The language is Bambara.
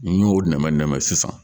N'i y'o nɛmɛ nɛmɛ sisan